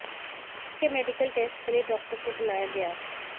उसके medical test के लिए डॉक्टर को बुलाया गया